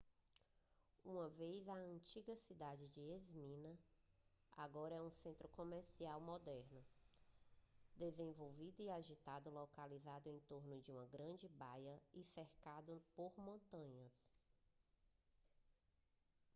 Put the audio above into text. uma vez a antiga cidade de esmirna agora é um centro comercial moderno desenvolvido e agitado localizado em torno de uma grande baía e cercado por montanhas